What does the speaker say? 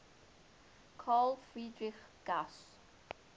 carl friedrich gauss